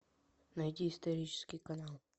найди исторический канал